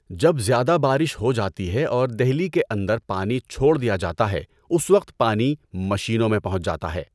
جب زیادہ بارش ہو جاتی ہے اور دہلی کے اندر پانی چھوڑ دیا جاتا ہے اس وقت پانی مشینوں میں پہنچ جاتا ہے۔